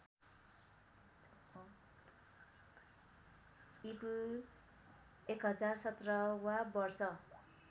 ईपू १०१७ वा वर्ष